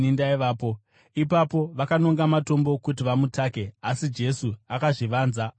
Ipapo, vakanonga matombo kuti vamutake, asi Jesu akazvivanza, akabuda mutemberi.